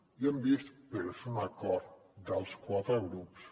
i ho hem vist però és un acord dels quatre grups